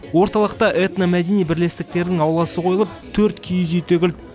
орталықта этномәдени бірлестіктерінің ауласы қойылып төрт киіз үй тігілді